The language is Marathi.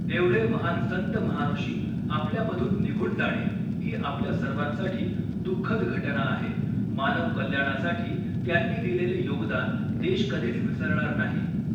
एवढे महान संत महाऋषि आपल्या मधून निघून जाणे ही आपल्या सर्वांसाठी दुःखद घटना आहे, मानव कल्याणासाठी त्यांनी दिलेले योगदान देश कधीच विसरणार नाही.